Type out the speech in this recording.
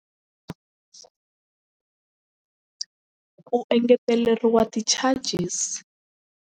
U engeteleriwa ti-charges.